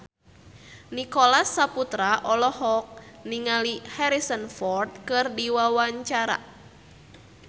Nicholas Saputra olohok ningali Harrison Ford keur diwawancara